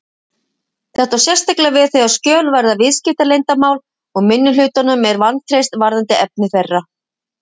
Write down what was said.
Þetta á sérstaklega við þegar skjöl varða viðskiptaleyndarmál og minnihlutanum er vantreyst varðandi efni þeirra.